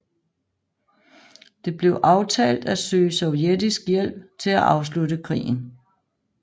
Det blev aftalt at søge sovjetisk hjælp til at afslutte krigen